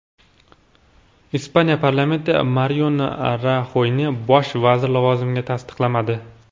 Ispaniya parlamenti Mariano Raxoyni bosh vazir lavozimiga tasdiqlamadi.